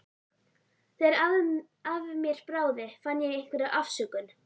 Þegar af mér bráði fann ég einhverja afsökun.